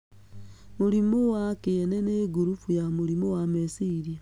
Mũrimũ wa kĩene nĩ ngurubu ya mũrimũ wa meciria.